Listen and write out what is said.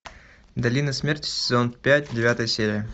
долина смерти сезон пять девятая серия